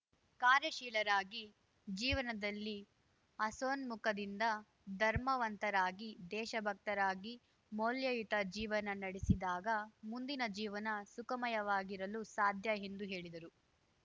ಕಾರ್ಯಾಶೀಲರಾಗಿ ಜೀವನದಲ್ಲಿ ಹಸನ್ಮುಕ ದಿಂದ ಧರ್ಮವಂತರಾಗಿ ದೇಶಭಕ್ತರಾಗಿ ಮೌಲ್ಯಯುತ ಜೀವನ ನಡೆಸಿದಾಗ ಮುಂದಿನ ಜೀವನ ಸುಖಮಯವಾಗಿರಲು ಸಾಧ್ಯ ಎಂದು ಹೇಳಿದರು